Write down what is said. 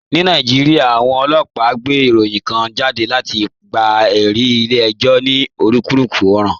Ní Nàìjíríà, àwọn ọlọ́pàá gbé ìròyìn kan jáde láti gba ẹ̀rí ilé ẹjọ́ ní onírúurú ọ̀ràn.